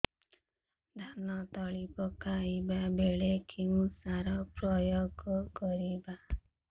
ଧାନ ତଳି ପକାଇବା ବେଳେ କେଉଁ ସାର ପ୍ରୟୋଗ କରିବା